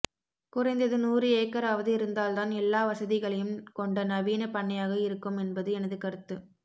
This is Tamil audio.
குறைந்தது நூறு ஏக்கராவது இருந்தால்தான் எல்லாவசதிகளையும் கொண்ட நவீனப் பண்ணையாக இருக்கும் என்பது எனது கருத்து